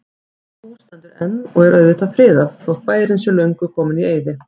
Það hús stendur enn og er auðvitað friðað, þótt bærinn sé löngu kominn í eyði.